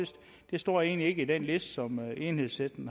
står egentlig ikke på den liste som enhedslisten